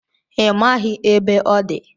Ị maghị ebe ọ dị